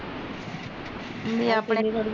ਮੈਂ ਆਪਣੇ ਲਈ ਅੜੀਏ